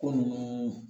Ko nunnu